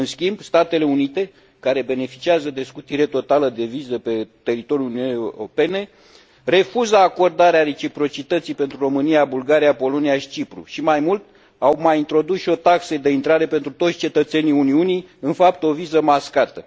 În schimb, Statele Unite, care beneficiază de scutire totală de viză pe teritoriul Uniunii Europene, refuză acordarea reciprocității pentru România, Bulgaria, Polonia și Cipru și, mai mult, au mai introdus și o taxă de intrare pentru toți cetățenii Uniunii în fapt, o viză mascată.